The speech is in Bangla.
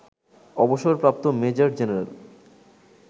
অবসরপ্রাপ্ত মেজর জেনারেল